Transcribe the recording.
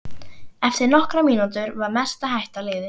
Eftir nokkrar mínútur var mesta hætta liðin hjá.